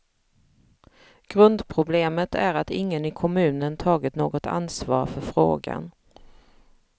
Grundproblemet är att ingen i kommunen tagit något ansvar för frågan.